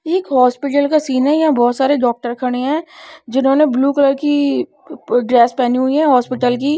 एक हॉस्पिटल का सीन है यहां बहोत सारे डॉक्टर खड़े है जिन्होंने ब्लू कलर की ड्रेस पहनी हुई है हॉस्पिटल की।